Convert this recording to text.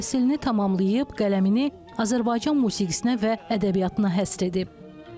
Təhsilini tamamlayıb, qələmini Azərbaycan musiqisinə və ədəbiyyatına həsr edib.